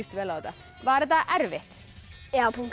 vel á þetta var þetta erfitt